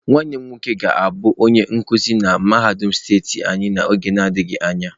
Nwannem nwoke ga-abu onye nkuzi na mahadum steeti anyi n'oge adighi anya.